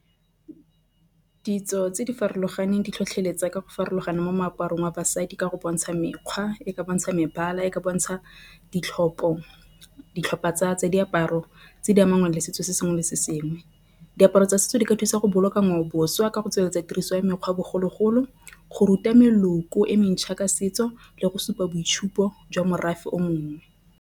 Ditso tse di farologaneng di tlhotlheletsa ka go farologana mo meaparong wa basadi ka go bontsha mekgwa e bontsha mebala e ka bontsha ditlhopha tsa diaparo tse di mangwe ka le setso se sengwe le sengwe. Diaparo tsa setso di ka thusa go boloka ngwaoboswa ka go tsweletsa tiriso ya mekgwa bogologolo go ruta meloko e mentšha ka setso le go supa boitshupo jwa morafe o mongwe.